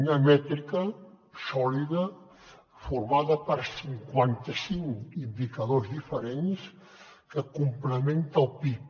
una mètrica sòlida formada per cinquanta cinc indicadors diferents que complementa el pib